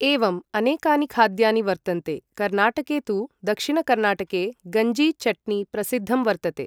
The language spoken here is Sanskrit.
एवम् अनेकानि खाद्यानि वर्तन्ते कर्नाटके तु दक्षिणकर्नाटके गञ्जि चट्नि प्रसिद्धं वर्तते।